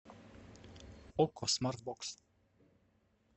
окко смарт бокс